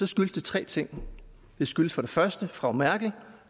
skyldes det tre ting det skyldes for det første frau merkel